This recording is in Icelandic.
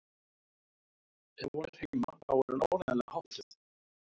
Ef hún er heima þá er hún áreiðanlega háttuð.